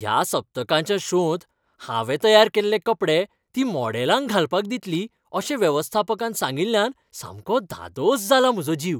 ह्या सप्तकाच्या शोंत हांवें तयार केल्ले कपडे ती मॉडेलांक घालपाक दितली अशें वेवस्थापकान सांगिल्ल्यान सामको धादोस जाला म्हजो जीव.